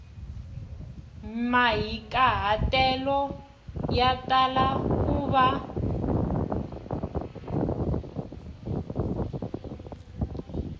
mahikahatelo ya tala ku va